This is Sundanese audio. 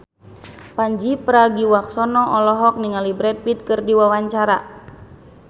Pandji Pragiwaksono olohok ningali Brad Pitt keur diwawancara